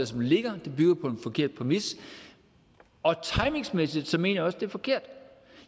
som ligger det bygger på en forkert præmis timingsmæssigt mener jeg også det er forkert